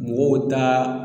Mɔgɔw taa